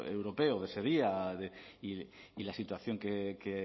europeo de ese día y la situación que